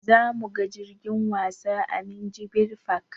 Zamuga jirgin wasa a minjibir fak